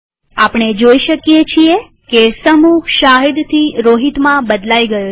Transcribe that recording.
આપણે જોઈ શકીએ છીએ કે સમૂહ શાહિદ થી રોહિતમાં બદલાઈ ગયો છે